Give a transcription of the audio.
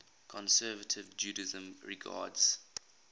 conservative judaism regards